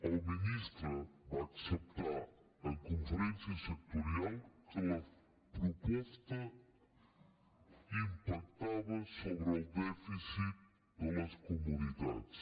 el ministre va acceptar en conferència sectorial que la proposta impactava sobre el dèficit de les comunitats